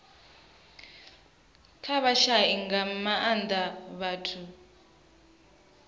kha vhashai nga maanda vhathu